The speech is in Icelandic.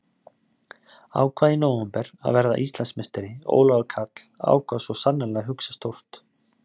Ákvað í nóvember að verða Íslandsmeistari Ólafur Karl ákvað svo sannarlega að hugsa stórt.